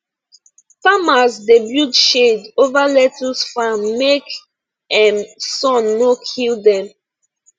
farmers dey build shade over lettuce farm make um sun no kill dem